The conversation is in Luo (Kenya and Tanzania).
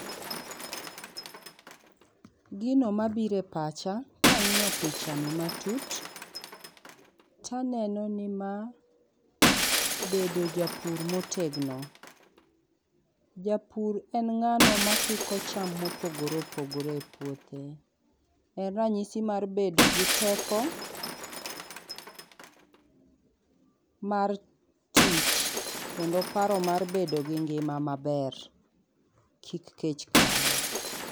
Gino ma biro e pacha kang'iyo pichani matut, taneno ni ma bedo japur motegno. Japur en ng'ano makiko cham mopogore opogore e puothe. En ranyisi mar bedo gi teko mar tich kendo paro mar bedo gi ngima maber kik kech kayi.